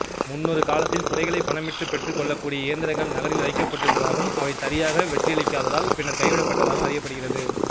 முன்னொரு காலத்தில் குடைகளை பணமிட்டு பெற்றுக் கொள்ளக்கூடிய இயந்திரங்கள் நகரில் வைக்கப்பட்டிருந்ததாகவும் அவை சரியாக வெற்றியளிக்காததால் பின்னர் கைவிடப்பட்டதாகவும் அறியப்படுகிறது